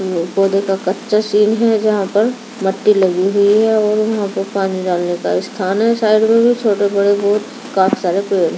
यह पौधे का कच्चा शीन हैं यहां पर मट्टी लगी हुई हैं और वह पे पानी डालने का स्थान हैं साइड में भी छोटे बड़े काफी सारे पेड़ हैं।